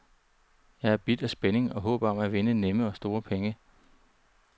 Jeg er bidt af spændingen og håbet om at vinde nemme og store penge.